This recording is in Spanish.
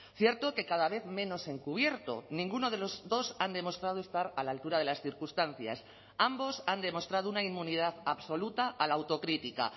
cierto que cada vez menos encubierto ninguno de los dos han demostrado estar a la altura de las circunstancias ambos han demostrado una inmunidad absoluta a la autocrítica